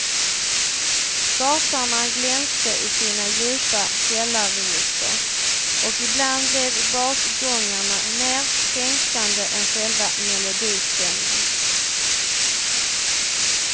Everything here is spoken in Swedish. Basarna glänste i sina djupa källarregister, och ibland blev basgångarna mer fängslande än själva melodistämman.